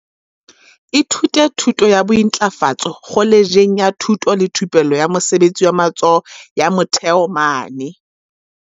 Ithutile thuto ya bointlafatso kholetjheng ya thuto le thupello ya mosebetsi wa matsoho ya Motheo mane.